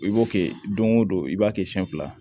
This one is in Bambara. I b'o kɛ don o don i b'a kɛ siɲɛ fila